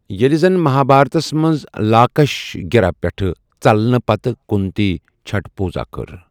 ییٚلہِ زن مَہابھارتس منٛز لَاکھش گِرٛہ پیٚٹھٕ ژٔلنہ پتہٕ کُنتی چھٹھ پوٗزا کٔر ۔